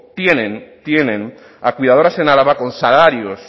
tienen a cuidadoras en álava con salarios